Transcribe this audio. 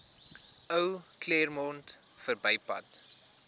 ou claremont verbypad